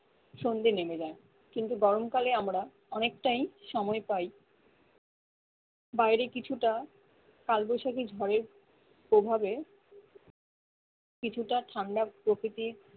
সন্ধে নেমে যায় কিন্তু গরম কালে আমরা অনেকটাই সময় পাই বাইরে কিছুটা কালবৈশাখী ঝড়ের প্রভাবে কিছুটা ঠান্ডা প্রকৃতির